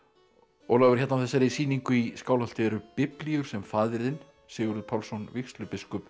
Ólafur hérna á þessari sýningu í Skálholti eru biblíur sem faðir þinn Sigurður Pálsson vígslubiskup